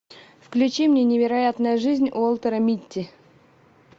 включи мне невероятная жизнь уолтера митти